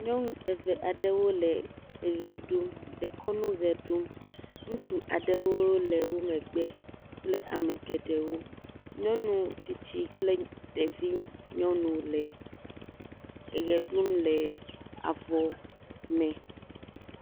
Nyɔnu eve aɖewo le eʋe ɖum, dekɔnu ʋe ɖum, ŋutsu aɖewo le wo megbe kple ame geɖewo, nyɔnu tsitsi kple ɖevi nyɔnu le eʋe ɖum le avɔ me.